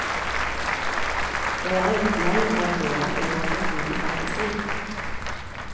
Jeg er litt lei av å høre at jeg har så frodig fantasi.